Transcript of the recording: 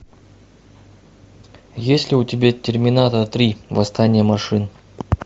есть ли у тебя терминатор три восстание машин